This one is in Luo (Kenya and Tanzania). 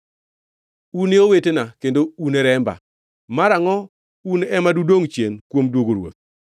Un e owetena kendo une remba. Marangʼo un ema dudongʼ chien kuom duogo ruoth?’